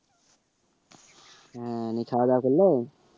হ্যাঁ খাওয়া দাওয়া করলে?